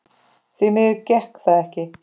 Því miður gekk það ekki.